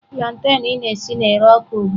Plantain ị na-esi na-ere ọkụ ugbua.